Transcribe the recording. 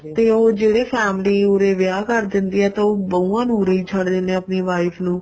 ਤੇ ਉਹ ਜਿਹੜੇ family ਉਰੇ ਵਿਆਹ ਕਰ ਦਿੰਦੀ ਹੈ ਤਾਂ ਉਹ ਬਹੂਆਂ ਨੂੰ ਉਰੇ ਹੀ ਛੱਡ ਜਾਂਦੇ ਹੈ ਆਪਣੀ wife ਨੂੰ